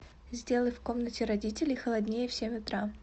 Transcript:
сделай в комнате родителей холоднее в семь утра